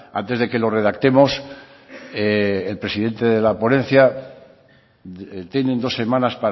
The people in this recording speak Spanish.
antes de que lo redactemos el presidente de la ponencia tienen dos semanas